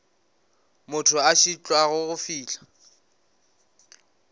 motho a šitwago go fihla